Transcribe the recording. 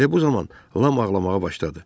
Elə bu zaman Lam ağlamağa başladı.